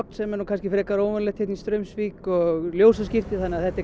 sem er nú kannski frekar óvenjulegt hér í Straumsvík og ljósaskipti þannig að þetta er